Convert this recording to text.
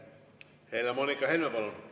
Helle-Moonika Helme, palun!